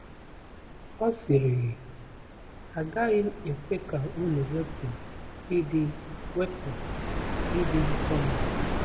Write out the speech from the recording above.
Ọ sịrịghị, ‘A gaghị m ekwe ka unu wepụ ịdị wepụ ịdị nsọ m!’